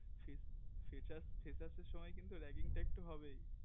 freshers freshers এর সময়ে কিন্তু raging টা একটু হবেই